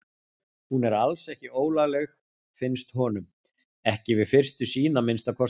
Hún er alls ekki ólagleg, finnst honum, ekki við fyrstu sýn að minnsta kosti.